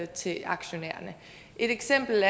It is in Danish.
til aktionærerne et eksempel